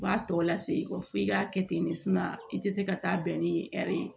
U b'a tɔ lase f'i k'a kɛ ten de i tɛ se ka taa bɛn ni hɛri ye